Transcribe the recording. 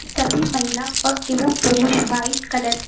सभी महिला और एवं पुरुष व्हाइट कलर --